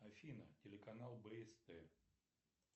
афина телеканал бст